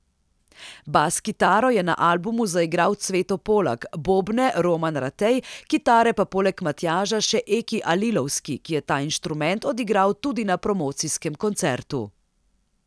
Bas kitaro je na albumu zaigral Cveto Polak, bobne Roman Ratej, kitare pa poleg Matjaža še Eki Alilovski, ki je ta inštrument odigral tudi na promocijskem koncertu.